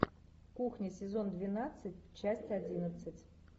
кухня сезон двенадцать часть одиннадцать